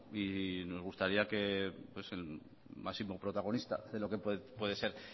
y nos gustaría que el máximo protagonista de lo que puede ser